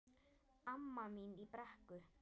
Amma mín í Brekku.